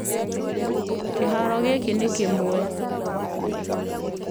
Kĩharo kĩgĩĩ nĩ kimwe